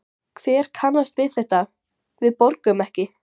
Hver kannast við þetta, við borgum ekki?